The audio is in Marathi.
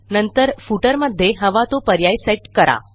नंतर footerमध्ये हवा तो पर्याय सेट करा